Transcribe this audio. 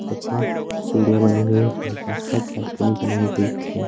तथा सीढिया बनी हुई है आस-पास बालकनी बनाई गयी है।